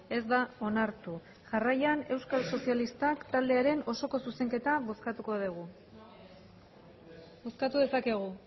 ez da onartu jarraian euskal sozialistak taldearen osoko zuzenketa bozkatuko dugu bozkatu dezakegu